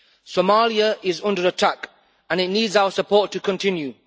Somalia is under attack, and it needs our support to continue.